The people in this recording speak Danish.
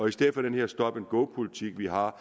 i stedet for den her stop and go politik vi har